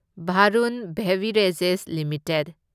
Varun beverages limited